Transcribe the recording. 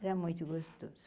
Era muito gostoso.